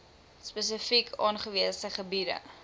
spesifiek aangewese gebiede